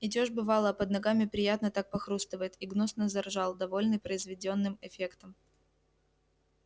идёшь бывало а под ногами приятно так похрустывает и гнусно заржал довольный произведённым эффектом